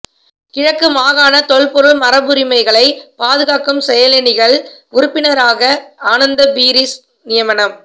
கிழக்கு மாகாண தொல்பொருள் மரபுரிமைகளை பாதுகாக்கும் செயலணியின் உறுப்பினராக ஆனந்த பீரிஸ் நியமனம்